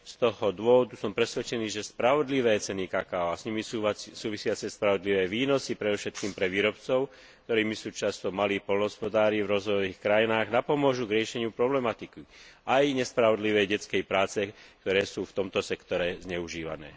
Z tohto dôvodu som presvedčený, že spravodlivé ceny kakaa a s nimi súvisiace spravodlivé výnosy predovšetkým pre výrobcov, ktorými sú často malí poľnohospodári v rozvojových krajinách, napomôžu riešeniu problematiky, ako aj riešeniu otázky nespravodlivej práce detí, ktoré sú v tomto sektore zneužívané.